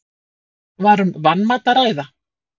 Var um vanmat að ræða?